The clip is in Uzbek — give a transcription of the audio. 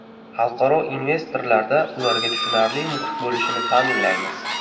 Xalqaro investorlarda ularga tushunarli muhit bo‘lishini ta’minlaymiz.